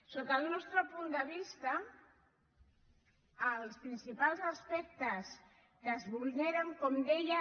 sota el nostre punt de vista els principals aspectes que es vulneren com deia